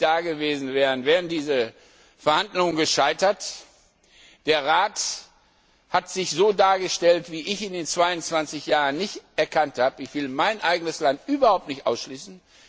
Wenn Sie nicht da gewesen wären, wären diese Verhandlungen gescheitert. Der Rat hat sich so dargestellt, wie ich ihn in 22 Jahren nicht gekannt habe. Ich will mein eigenes Land überhaupt nicht ausschließen.